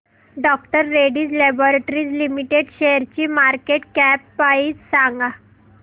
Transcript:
डॉ Reddy's laboratories limited शेअरची market cap price सांगा